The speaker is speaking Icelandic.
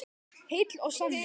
Heill og sannur.